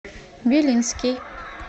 белинский